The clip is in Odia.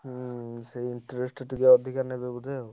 ହୁଁ ସେ interest ଟିକେ ଅଧିକା ନେବେ ବୋଧେ ଆଉ।